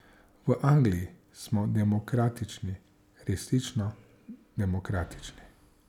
V Angliji smo demokratični, resnično demokratični.